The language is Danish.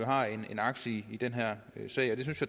har en aktie i i den her sag det synes